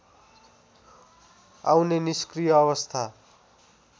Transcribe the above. आउने निष्क्रिय अवस्था